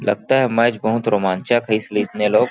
लगता है मैच बहुत रोमांचक है इसलिए इतने लोग --